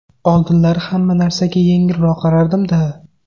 Oldinlari hamma narsaga yengilroq qarardim-da.